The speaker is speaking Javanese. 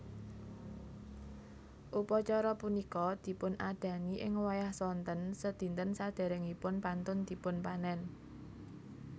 Upacara punika dipunadani ing wayah sonten sedinten saderengipun pantun dipunpanen